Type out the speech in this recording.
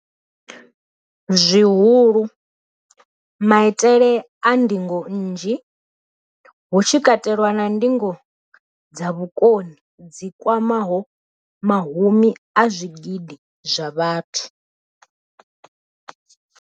zwihulu, maitele a ndingo nnzhi, hu tshi katelwa na ndingo dza vhukoni dzi kwamaho mahumi a zwigidi zwa vhathu.